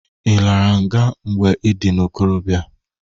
I lara nga mgbe ị dị n'ikorobịa!